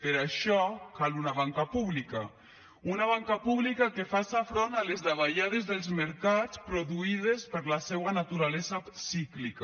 per això cal una banca pública una banca pública que faci front a les davallades dels mercats produïdes per la seua naturalesa cíclica